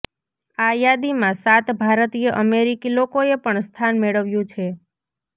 આ યાદીમાં સાત ભારતીય અમેરિકી લોકોએ પણ સ્થાન મેળવ્યુ છે